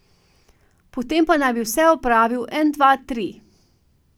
Potem pa naj bi vse opravil en dva tri.